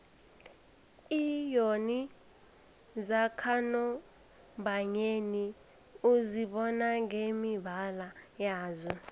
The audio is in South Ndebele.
iinyoni zakanobayeni uzibona ngemibala yazo